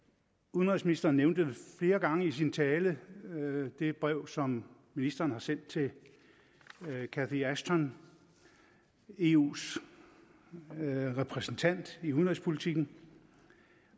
udenrigsministeren nævnte flere gange i sin tale det brev som ministeren har sendt til catherine ashton eus repræsentant i udenrigspolitikken